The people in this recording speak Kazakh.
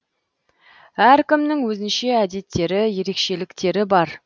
әркімнің өзінше әдеттері ерекшеліктері бар